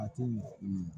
A tɛ ɲɛ